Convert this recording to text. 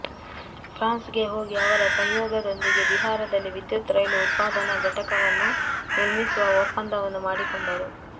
France ಗೆ ಹೋಗಿ ಅವರ ಸಂಯೋಗದೊಂದಿಗೆ ಬಿಹಾರದಲ್ಲಿ ವಿದ್ಯುತ್ ರೈಲು ಉತ್ಪಾದನಾ ಘಟಕವನ್ನು ನಿರ್ಮಿಸುವ ಒಪ್ಪಂದವನ್ನೂ ಮಾಡಿಕೊಂಡರು